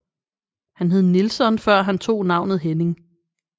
Han hed Nilsson før han tog navnet Henning